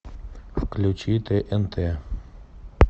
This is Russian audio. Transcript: включи тнт